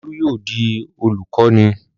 Olú yóò di olùkọ́ní!